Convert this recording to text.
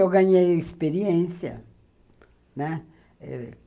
Eu ganhei experiência, né.